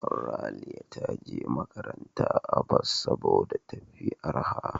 Raliya ta je makaranta a bas saboda tafi arha.